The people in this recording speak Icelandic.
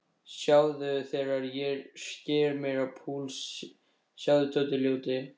Sjáðu þegar ég sker mig á púls, sjáðu, Tóti ljóti.